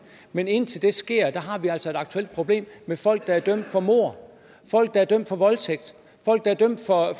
men indtil det sker har vi altså et aktuelt problem med folk der er dømt for mord folk der er dømt for voldtægt folk der er dømt for at